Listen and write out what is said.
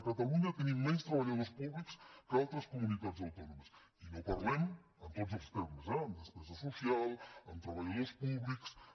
a catalunya tenim menys treballadors públics que altres comunitats autònomes i no parlem en tots els termes eh en despesa social en treballadors públics